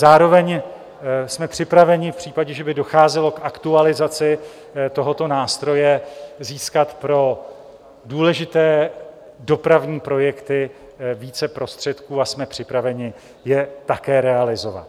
Zároveň jsme připraveni v případě, že by docházelo k aktualizaci tohoto nástroje, získat pro důležité dopravní projekty více prostředků a jsme připraveni je také realizovat.